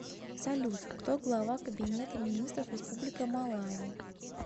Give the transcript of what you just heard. салют кто глава кабинета министров республика малави